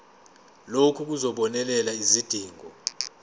lokhu kuzobonelela izidingo